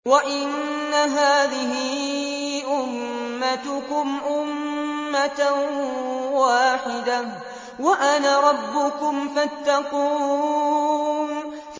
وَإِنَّ هَٰذِهِ أُمَّتُكُمْ أُمَّةً وَاحِدَةً وَأَنَا رَبُّكُمْ فَاتَّقُونِ